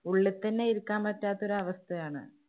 ഉള്ളി തന്നെ ഇരിക്കാന്‍ പറ്റാത്ത ഒരവസ്ഥയാണ്.